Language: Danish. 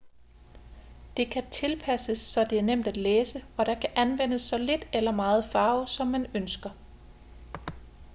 det kan tilpasses så det er nemt at læse og der kan anvendes så lidt eller meget farve som man ønsker